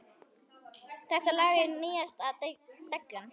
Þetta lag er nýjasta dellan.